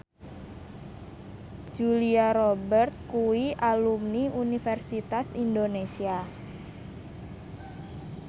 Julia Robert kuwi alumni Universitas Indonesia